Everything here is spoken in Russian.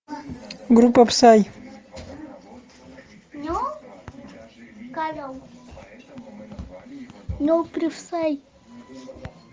группа псай